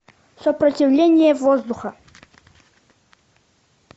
сопротивление воздуха